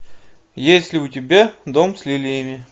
есть ли у тебя дом с лилиями